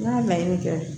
N'a laɲini kɛ